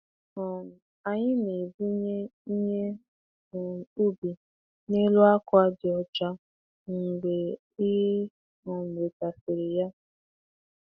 um Anyị na-ebunye ihe um ubi n'elu akwa dị ọcha mgbe e um wetasịrị ya.